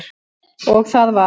Og það var